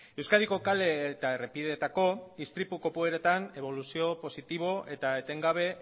euskadiko kale eta errepideetako istripu kopuruetan eboluzio positibo eta etengabea